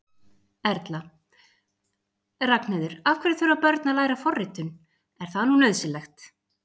Erla: Ragnheiður, af hverju þurfa börn að læra forritun, er það nú nauðsynlegt?